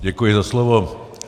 Děkuji za slovo.